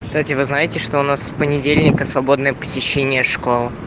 кстати вы знаете что у нас с понедельника свободное посещение школ